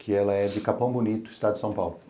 Que ela é de Capão Bonito, estado de São Paulo.